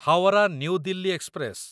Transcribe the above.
Howrah New Delhi express